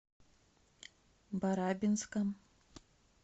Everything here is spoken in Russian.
барабинском